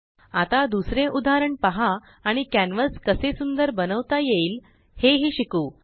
आता दुसरे उदाहरण पहाआणिकॅनवास कसे सुंदर बनवता येईल हे हि शिकू